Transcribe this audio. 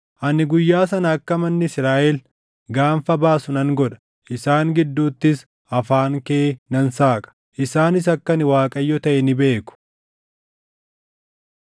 “Ani Guyyaa sana akka manni Israaʼel gaanfa baasu nan godha; isaan gidduuttis afaan kee nan saaqa. Isaanis akka ani Waaqayyo taʼe ni beeku.”